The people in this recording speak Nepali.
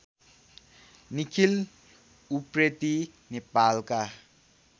निखिल उप्रेति नेपालका